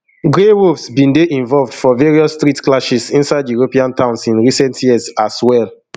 grey wolves bin dey involved for various street clashes inside european towns in recent years as well